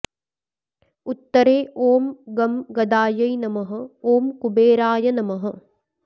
उत्तरे ॐ गं गदायै नमः ॐ कुबेराय नमः